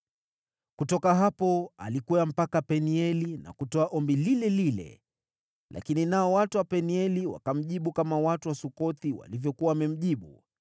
Kutoka hapo alikwea mpaka Penieli na kutoa ombi lile lile, lakini nao watu wa Penieli wakamjibu kama watu wa Sukothi walivyokuwa wamemjibu.